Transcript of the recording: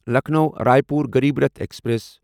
Lucknow Raipur Garib Rath express